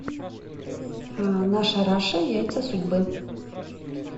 наша раша яйца судьбы